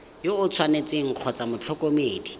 yo o tshwanetseng kgotsa motlhokomedi